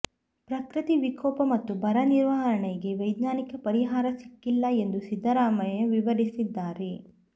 ಪ್ರಕೃತಿ ವಿಕೋಪ ಮತ್ತು ಬರ ನಿರ್ವಹಣೆಗೆ ವೈಜ್ಞಾನಿಕ ಪರಿಹಾರ ಸಿಕ್ಕಿಲ್ಲ ಎಂದು ಸಿದ್ದರಾಮಯ್ಯ ವಿವರಿಸಿದ್ದಾರೆ